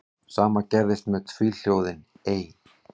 Sama gerðist með tvíhljóðið ey.